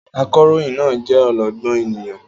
Akọ̀ròyìn náà jẹ́ ọlọ́gbọ́n ènìyàn.